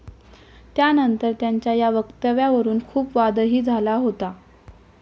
त्यानंतर त्यांच्या या वक्तव्यावरून खूप वादही झाला होता.